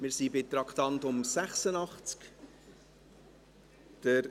Wir sind bei Traktandum 86.